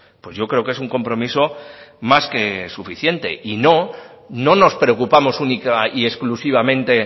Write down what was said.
pues yo creo que es un compromiso más que suficiente y no no nos preocupamos única y exclusivamente